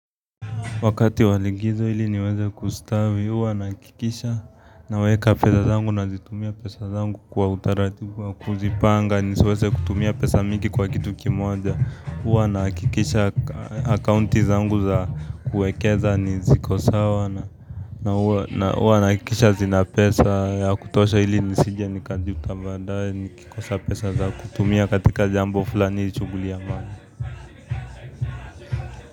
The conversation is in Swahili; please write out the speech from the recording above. Wakati wa likizo ili niweze kustawi, huwa nahakikisha naweka pesa zangu na zitumia pesa zangu kwa utaratibu kwa kuzipanga, nisiweze kutumia pesa mingi kwa kitu kimoja, huwa nahakikisha akaunti zangu za kuwekeza, ni ziko sawa na huwa nahakikisha zina pesa, ya kutosha ili nisije, nikajuta baadaye, nikikosa pesa za kutumia katika jambo fulani, shughuli ya mani.